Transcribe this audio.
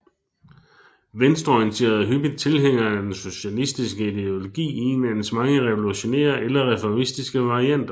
Venstreorienterede er hyppigt tilhængere af den socialistiske ideologi i en af dens mange revolutionære eller reformistiske varianter